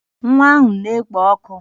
Nwa ahụ na-ekpo ọkụ